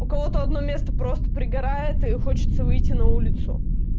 у кого то одно место просто пригорает и хочется выйти на улицу